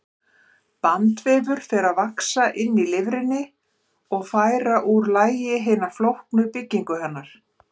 Bandvefur fer að vaxa inn í lifrina og færa úr lagi hina flóknu byggingu hennar.